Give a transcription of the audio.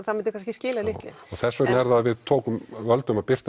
það myndi kannski skila litlu já þess vegna er það að við völdum að birta